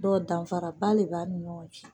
Dɔnku danfaraba de b'a ni ɲɔgɔn cɛ.